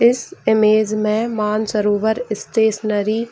इस इमेज में मानसरोवर स्टेशनरी --